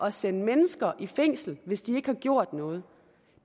at sende mennesker i fængsel hvis de ikke har gjort noget